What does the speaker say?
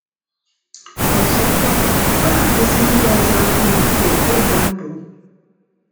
Ọzọkwa, ọ na-agụsi ndị ọzọ agụụ ike ịgambụl.